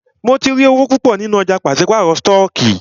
Mó tí rí owó púpọ nínú ọ̀jà pàṣípàrọ̀ stọọkí.